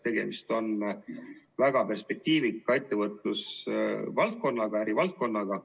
Tegemist on väga perspektiivika ettevõtlusvaldkonnaga, ärivaldkonnaga.